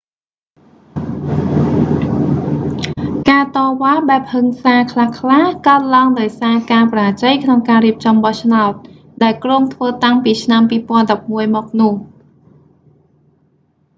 ការតវ៉ាបែបហឹង្សាខ្លះៗកើតឡើងដោយសារការបរាជ័យក្នុងការរៀបចំបោះឆ្នោត ដែលគ្រោងធ្វើតាំងពីឆ្នាំ 2011មកនោះ